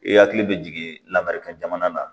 I hakili bɛ jigin lamaga jamana na